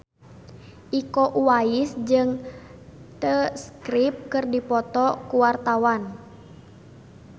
Iko Uwais jeung The Script keur dipoto ku wartawan